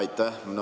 Aitäh!